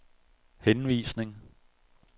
henvisning